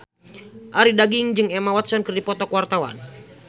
Arie Daginks jeung Emma Watson keur dipoto ku wartawan